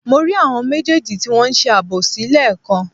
Mo rí àwọn méjèèjì tí wọn ń ṣe àbòsí lẹ́ẹ̀kan